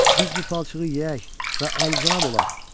Biz bu palçığı yeyək və alicənab olaq.